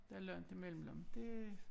Der langt imellem men det